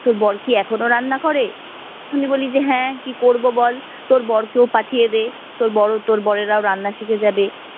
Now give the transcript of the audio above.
তোর বর কি এখনও রান্না করে? আমি বলি যে হ্যাঁ কি করবো বল, তোর বর কেও পাঠিয়ে দে, তোর বরও তোর বরেরাও রান্না শিখে যাবে।